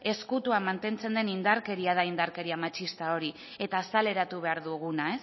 ere ezkutuan mantentzen den indarkeria da indarkeria matxista hori eta azaleratu behar duguna